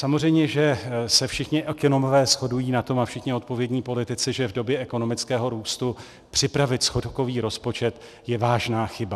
Samozřejmě že se všichni ekonomové shodují na tom, a všichni odpovědní politici, že v době ekonomického růstu připravit schodkový rozpočet je vážná chyba.